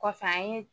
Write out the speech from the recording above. Kɔfɛ an ye